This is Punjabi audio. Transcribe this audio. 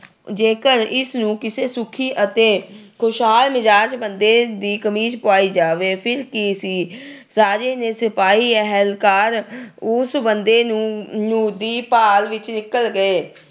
ਜੇਕਰ ਇਸ ਨੂੰ ਕਿਸੇ ਸੁਖੀ ਅਤੇ ਖੁਸ਼ਾਲ ਮਿਜਾਜ ਬੰਦੇ ਦੀ ਕਮੀਜ ਪਵਾਈ ਜਾਵੇ। ਫਿਰ ਕੀ ਸੀ, ਰਾਜੇ ਦੇ ਸਿਪਾਹੀ, ਅਹਿਲਕਾਰ, ਉਸ ਬੰਦੇ ਨੂੰ ਅਹ ਦੀ ਭਾਲ ਵਿੱਚ ਨਿਕਲ ਗਏ।